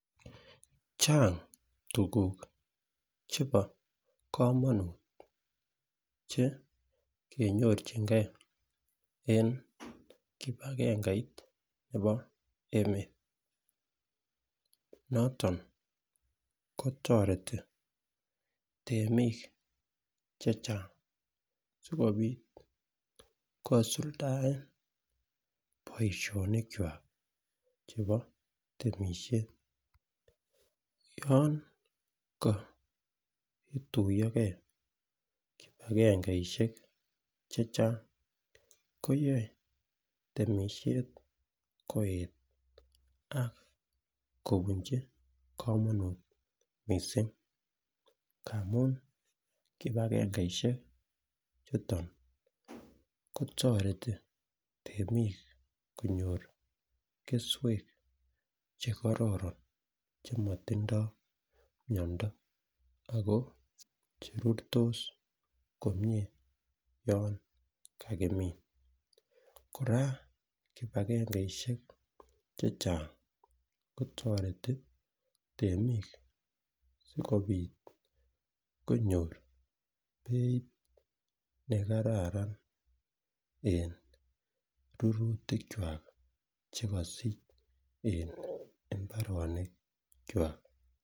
Chang tukuk chebo komonut chenyorchingee en kipagengeit nebo emet noton kotoreti temik chechang sikopit kisuldaen boishonik kwak chebo temishet, yon koituyogee kipagangeishek Checheng koyoe temishet koet ak kobunchi komonut missing ngamun kipagengeishek chuton kotoreti temik konyor keswek chekororon chemotindo miondo Ako cherurtos komie yon kakimin. Koraa kipagengeishek chechang kotoreti temik sikopit konyor beit nekararan en rurutik kwak chekosich en imbarenik kwak.